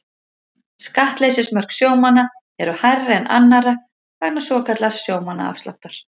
Skattleysismörk sjómanna eru hærri en annarra vegna svokallaðs sjómannaafsláttar.